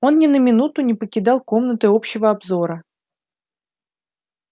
он ни на минуту не покидал комнаты общего обзора